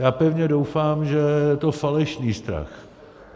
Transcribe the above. Já pevně doufám, že je to falešný strach.